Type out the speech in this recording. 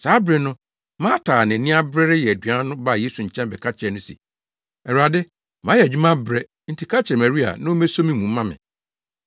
Saa bere no, Marta a nʼani abere reyɛ aduan no baa Yesu nkyɛn bɛka kyerɛɛ no se, “Awurade, mayɛ adwuma abrɛ, nti ka kyerɛ Maria na ommeso mu mma me.”